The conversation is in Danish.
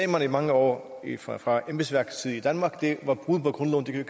man i mange år fra fra embedsværkets side i danmark sagde var